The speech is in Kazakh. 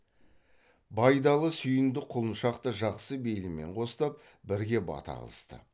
байдалы сүйіндік құлыншақ та жақсы бейілмен қостап бірге бата қылысты